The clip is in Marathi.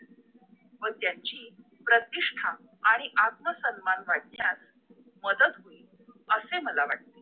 व त्यांची प्रतिष्ठा आणि आत्मसन्मान वाढण्यास मदत होईल असे मला वाटते